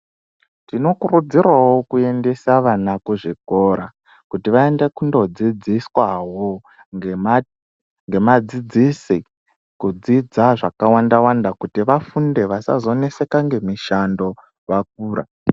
Tinokurudzirawo kuendsa vana kuzvikora kuti vaende kundodzidziswawo ngemadzidzisi kidzidza zvakàwanda wanda kuti vafunde vasazoneseka ngemushando vakura.